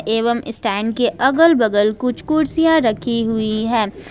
एवं स्टैंड के अगल बगल कुछ कुर्सियां रखी हुई हैं।